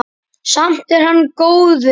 Samt er hann góður.